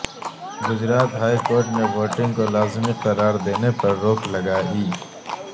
Gujarat high court نے voting کو لازمی قراردینے پر روک لگائی